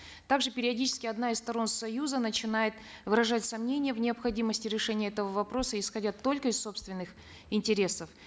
также периодически одна из сторон союза начинает выражать сомнения в необходимости решения этого вопроса исходя только из собственных интересов